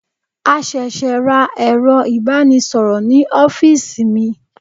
A ṣẹ̀ṣẹ̀ ra ero ibanisoro ní ọ́fíìsì mi.